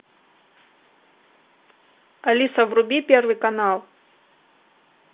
алиса вруби первый канал